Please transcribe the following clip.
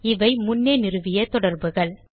இவை முன்னே நிறுவிய தொடர்புகள்